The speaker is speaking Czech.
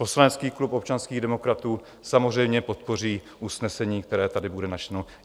Poslanecký klub občanských demokratů samozřejmě podpoří usnesení, které tady bude načteno.